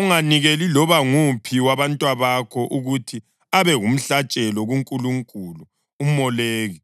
Unganikeli loba nguphi wabantwabakho ukuthi abe ngumhlatshelo kunkulunkulu uMoleki,